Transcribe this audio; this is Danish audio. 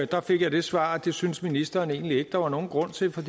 der fik jeg det svar at det syntes ministeren egentlig ikke der var nogen grund til for